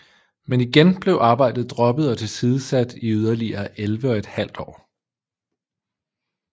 Men igen blev arbejdet droppet og tilsidesat i yderligere elleve og et halvt år